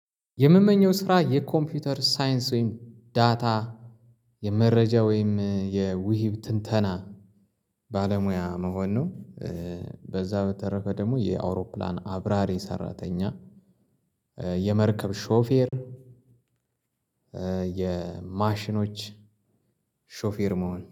የምመኘው ስራ የኮምፒውተር ሳይንስ ወይም ዳታ የመረጃ ወይም የውሂብ ትንተና ባለሙያ መሆን ነው። በዛ በተረፈ ደግሞ የአውሮፕላን አብራሪ ሰራተኛ የመርከብ ሾፌር። የማሽኖች ሾፌር መሆን